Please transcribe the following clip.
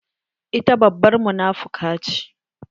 Ita babbar munafuka ce.